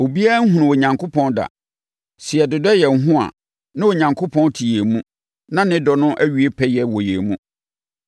Obiara nhunuu Onyankopɔn da. Sɛ yɛdodɔ yɛn ho a, na Onyankopɔn te yɛn mu na ne dɔ no awie pɛyɛ wɔ yɛn mu.